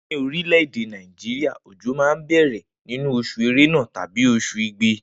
Ni orilede Naijiria ojo ma n bẹrẹ ninu osùn erena tabi osun igbe